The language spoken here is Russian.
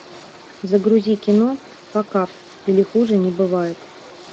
загрузи кино факап или хуже не бывает